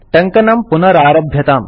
टङ्कनं पुनरारभ्यताम्